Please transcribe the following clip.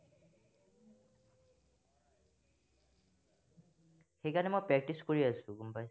সেই কাৰনে মই practice কৰি আছো, গম পাইছা?